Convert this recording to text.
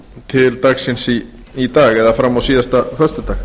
til dagsins í dag eða fram á síðasta föstudag